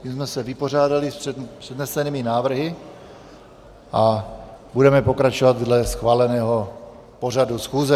Tím jsme se vypořádali s přednesenými návrhy a budeme pokračovat dle schváleného pořadu schůze.